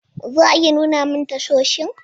Za a iya nuna min tashoshin?